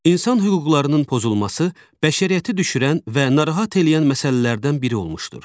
İnsan hüquqlarının pozulması bəşəriyyəti düşürən və narahat eləyən məsələlərdən biri olmuşdur.